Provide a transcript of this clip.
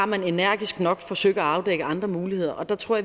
man energisk nok har forsøgt at afdække andre muligheder der tror